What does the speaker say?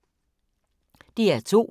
DR2